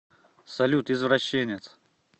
салют извращенец